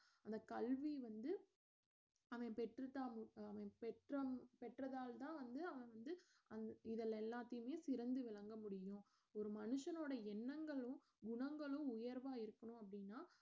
அந்த கல்வி வந்து அவன் பெற்றுட்டா~ பெற்றால் பெற்றதால்தான் வந்து அவன் வந்து அஹ் இதில எல்லாத்தையுமே சிறந்து விளங்க முடியும் ஒரு மனுஷனோட எண்ணங்களும் குணங்களும் உயர்வா இருக்கணும் அப்படின்னா